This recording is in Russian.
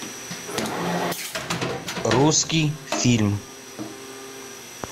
русский фильм